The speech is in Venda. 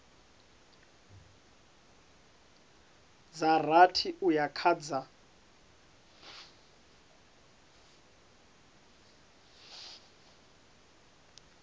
dza rathi uya kha dza